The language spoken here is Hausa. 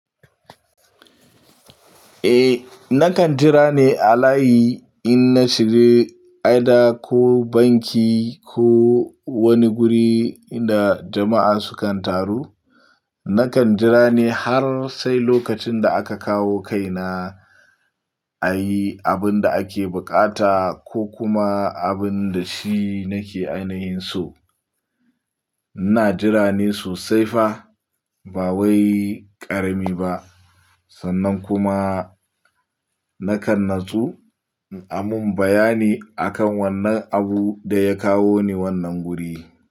Eh, na kan jira ne a layi in na shiga, either ko banki ko wani guri inda jama'a sukan taru. Na kan jira ne har sai lokacin da aka kawo kaina ayi abun da ake buƙata ko kuma abun da shi nake ainihin so. Ina jira ne sosai fa ba wai ƙarami ba. Sannan kuma na kan nutsu a mun bayani akan wannan abu da ya kawo ni wannan guri.